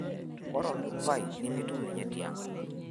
ore Odupoi nemitum ninye tiang'